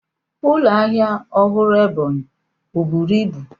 Ụlọ ahịa ọhụrụ Ebonyi ọ buru ibu?